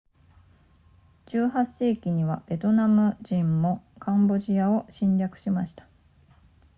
18世紀末にはベトナム人もカンボジアを侵略しました